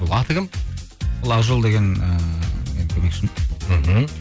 аты кім ол ақжол деген ыыы менің көмекшім мхм